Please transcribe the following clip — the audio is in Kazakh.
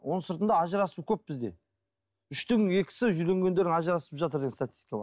оның сыртында ажырасу көп бізде үштің екісі үйленгендер ажырасып жатыр деген статистика бар